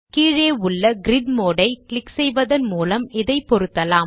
கீழே உள்ள grid mode ஐ கிளிக் செய்வதன் மூலம் இதைப் பொருத்தலாம்